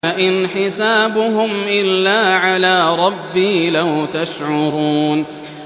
إِنْ حِسَابُهُمْ إِلَّا عَلَىٰ رَبِّي ۖ لَوْ تَشْعُرُونَ